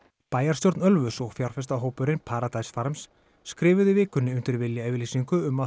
bæjarstjórn Ölfuss og fjárfestahópurinn Paradise farms skrifuðu í vikunni undir viljayfirlýsingu um að